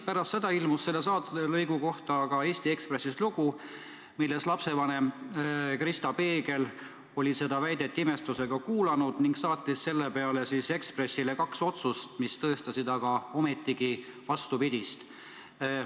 Pärast seda ilmus selle saatelõigu kohta aga Eesti Ekspressis lugu, mille järgi lapsevanem Kristi Peegel oli seda väidet imestusega kuulanud ning saatnud Eesti Ekspressile kaks otsust, mis tõestasid vastupidist.